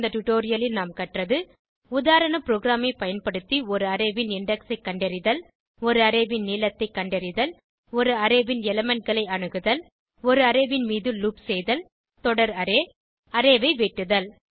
இந்த டுடோரியலில் நாம் கற்றது உதாரண ப்ரோகிராமை பயன்படுத்தி ஒரு அரே ன் இண்டெக்ஸ் ஐ கண்டறிதல் ஒரு அரே ன் நீளத்தை கண்டறிதல் ஒரு அரே ன் எலிமெண்ட் களை அணுகுதல் ஒரு அரே ன் மீது லூப் செய்தல் தொடர் அரே அரே ஐ வெட்டுதல்